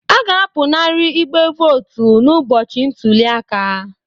A ga-apụnara igbe votu n'ụbọchị ntuli aka